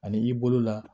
Ani i bolo la